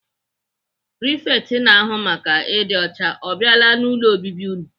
Prifekt na-ahụ maka ịdị ọcha ọ biala n'ụlọ obibi unu?